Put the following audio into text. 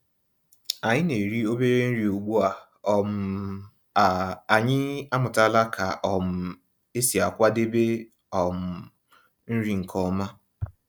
Ànyị́ ná-èrí òbérè nrí ugbu um à ànyị́ àmụ̀tàlà kà um ésí àkwàdébé um nrí nkè ọ̀ma.